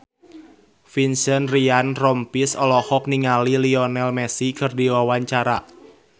Vincent Ryan Rompies olohok ningali Lionel Messi keur diwawancara